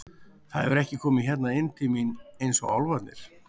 Það hefur ekki komið hérna inn til mín eins og álfarnir.